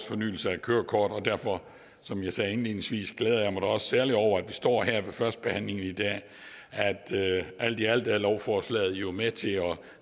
fornyelse af kørekort og derfor som jeg sagde indledningsvis glæder jeg mig da også særligt over når vi står her ved førstebehandlingen i dag at alt i alt er lovforslaget jo med til at